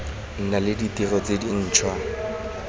nna le ditiro tse dintšhwa